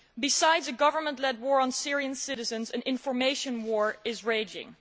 Aside from a government led war on Syrian citizens an information war is raging.